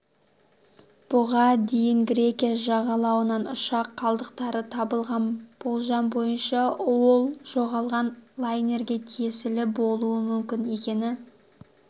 бұған дейін грекия жағалауынан ұшақ қалдықтары табылғаны болжам бойынша ол жоғалған лайнерге тиесілі болуы мүмкін екені